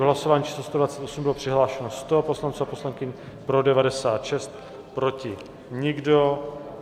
V hlasování číslo 128 bylo přihlášeno 100 poslanců a poslankyň, pro 96, proti nikdo.